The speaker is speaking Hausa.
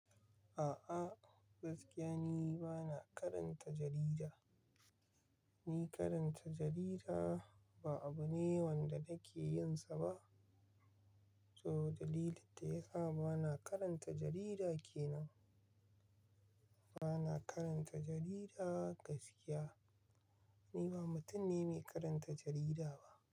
A'a, gaskiya ni bana karanta jarida. Ni karanta jarida ba abu ne wanda nake yin sa ba. To dalilin da ya sa bana karanta jarida ke nan. Bana karanta jarida gaskiya. Ni ba mutum ne mai karanta jarida ba.